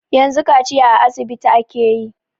Yanzu kaciya a asibiti ake yi.